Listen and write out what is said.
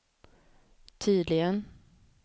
tydligen